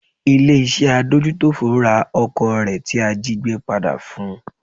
Ilé iṣẹ́ adójútòfò ra ọkọ̀ rẹ̀ tí a jígbé padà fun.